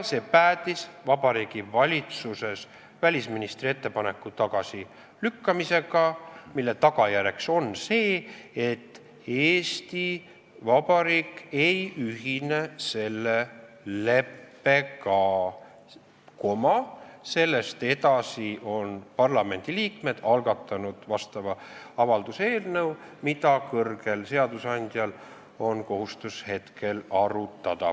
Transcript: See päädis Vabariigi Valitsuses välisministri ettepaneku tagasilükkamisega, mille tagajärjeks on see, et Eesti Vabariik ei ühine selle leppega, sellest edasi on parlamendiliikmed algatanud avalduse eelnõu, mida kõrgel seadusandjal on kohustus hetkel arutada.